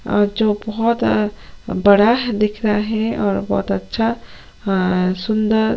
अ जो बोहोत अ बड़ा दिख रहा है और बोहोत अच्छा अ सुन्दर --